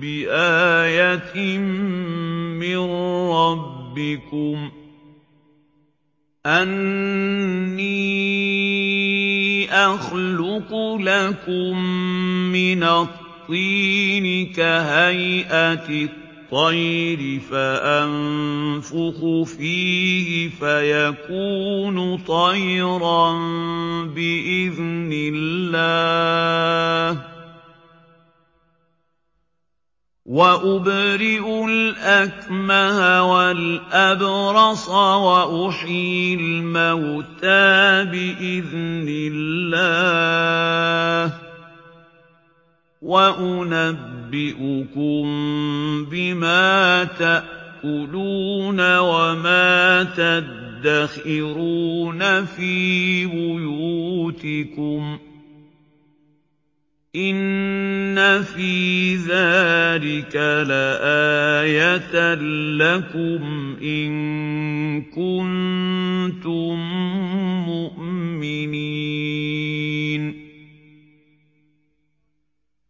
بِآيَةٍ مِّن رَّبِّكُمْ ۖ أَنِّي أَخْلُقُ لَكُم مِّنَ الطِّينِ كَهَيْئَةِ الطَّيْرِ فَأَنفُخُ فِيهِ فَيَكُونُ طَيْرًا بِإِذْنِ اللَّهِ ۖ وَأُبْرِئُ الْأَكْمَهَ وَالْأَبْرَصَ وَأُحْيِي الْمَوْتَىٰ بِإِذْنِ اللَّهِ ۖ وَأُنَبِّئُكُم بِمَا تَأْكُلُونَ وَمَا تَدَّخِرُونَ فِي بُيُوتِكُمْ ۚ إِنَّ فِي ذَٰلِكَ لَآيَةً لَّكُمْ إِن كُنتُم مُّؤْمِنِينَ